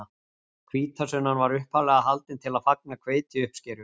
Hvítasunnan var upphaflega haldin til að fagna hveitiuppskeru.